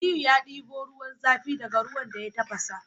Aliyu ya debo ruwan zafi daka ruwan da ya tafasa